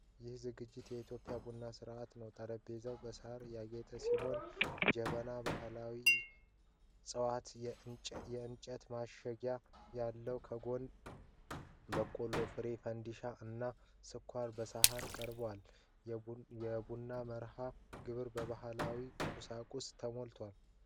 ይህ ዝግጅት የኢትዮጵያ ቡና ሥነ-ሥርዓት ነው። ጠረጴዛው በሣር ያጌጠ ሲሆን ጀበና፣ ባህላዊ ጽዋዎችና የእንጨት ማጨሻ አለው። ከጎኑ የበቆሎ ፍሬ (ፈንዲሻ) እና ስኳር በሳህን ቀርበዋል። የቡና መርሃ ግብር በባህላዊ ቁሳቁሶች ተሞልቷል።